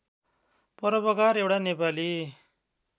परोपकार एउटा नेपाली